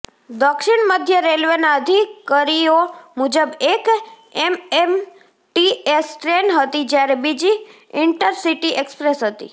દક્ષિણ મધ્ય રેલવેના અધિકરીઓ મુજબ એક એમએમટીએસ ટ્રેન હતી જ્યારે બીજી ઈન્ટરસિટી એક્સપ્રેસ હતી